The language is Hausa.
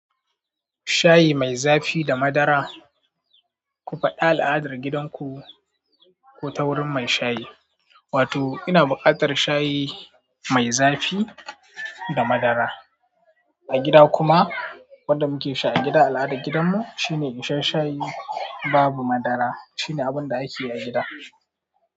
Shayi mai zafi da madara. Ku faɗa al'adar gidanku, ko ta wurin mai shayi. Wato ina buƙatar shayi mai zafi da madara. A gida kuma wanda muke sha a gida al'adar gidanmu, shine in sha shayi babu madara. Shine abun da ake yi a gida.